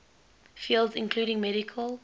fields including medical